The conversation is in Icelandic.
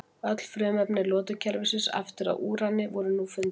Öll frumefni lotukerfisins aftur að úrani voru nú fundin.